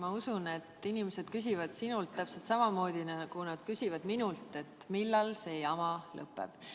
Ma usun, et inimesed küsivad sinult täpselt samamoodi, nagu nad küsivad minult, millal see jama lõpeb.